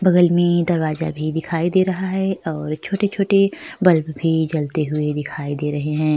बगल में दरवाजा भी दिखाई दे रहा है और छोटे-छोटे बल्ब भी जलते हुए दिखाई दे रहें हैं।